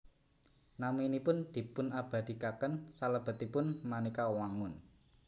Naminipun dipunabadhikaken salebetipun manéka wangun